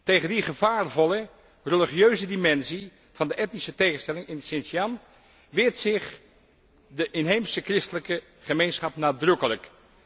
Tegen die gevaarvolle, religieuze dimensie van de etnische tegenstelling in Xinjiang weert zich de inheemse christelijke gemeenschap nadrukkelijk.